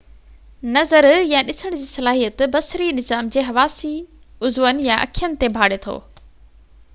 نظر يا ڏسڻ جي صلاحيت بصري نظام جي حواسي عضون يا اکين تي ڀاڙي ٿو